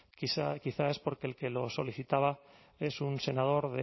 quizás porque el que lo solicitaba era un senador